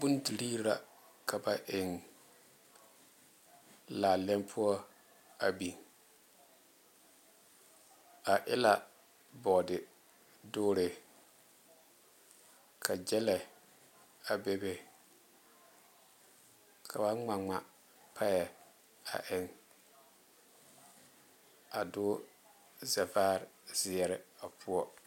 Bondire la ka ba eŋ laalɛŋ poɔ a biŋ a e la boɔde dure ka gyile a bebe ka be ŋmaa ŋmaa piɛ a eŋ a doŋ zavaare ziɛre a poɔ.